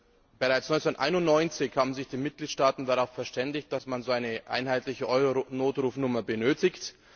Bereits 1991 haben sich die Mitgliedstaaten darauf verständigt, dass man eine einheitliche Euronotrufnummer benötigt.